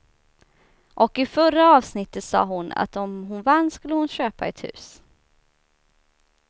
Och i förra avsnittet sa hon att om hon vann skulle hon köpa ett hus.